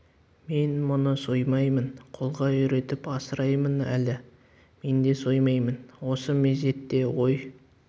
мен мұны соймаймын қолға үйретіп асыраймын әлі мен де соймаймын осы мезетте ой